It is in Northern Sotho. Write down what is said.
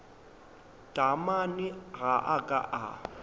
taamane ga a ka a